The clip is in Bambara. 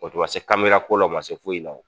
O tun ma se ko la o ma se foyi la o.